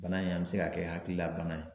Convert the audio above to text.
Bana in a bɛ se ka kɛ hakilila bana ye.